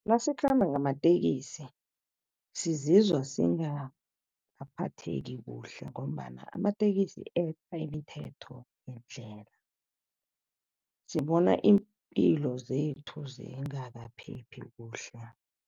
Nasikhamba ngamatekisi sizizwa singakaphatheki kuhle ngombana amatekisi eqa imithetho yendlela. Sibona iimpilo zethu zingakaphephi kuhle.